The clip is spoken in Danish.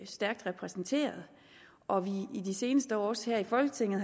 stærkt repræsenteret og vi i de seneste år også her i folketinget